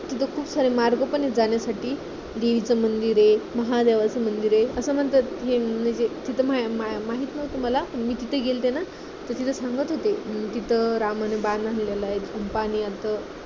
तिथे खूप सारे मार्ग पण आहेत जाण्यासाठी, देवीचं मंदिर आहे, महादेवाचं मंदिर आहे, असं म्हणतात कि म्हणजे तिथं माहित नव्हतं मला पण मी तिथे गेलते ना तिथे सांगत होते कि तिथं रामानी बाण हाणलेला आहे. खूप बाणी असं